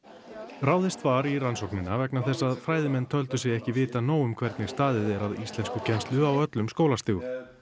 ráðist var í rannsóknina vegna þess að fræðimenn töldu sig ekki vita nóg um hvernig staðið er að íslenskukennslu á öllum skólastigum